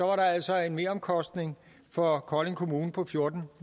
var der altså en meromkostning for kolding kommune på fjorten